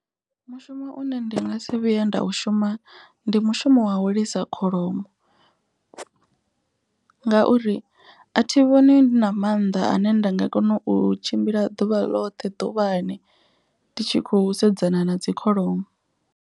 Mushumo une ndi nga si vhuya nda u shuma ndi mushumo wa u lisa kholomo. Ngauri a thi vhoni ndi na mannḓa ane nda nga kona u tshimbila ḓuvha ḽoṱhe ḓuvhani ndi tshi khou sedzana na dzi kholomo.